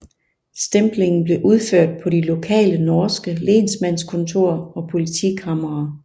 Stemplingen blev udført på de lokale norske lensmannskontor og politikamre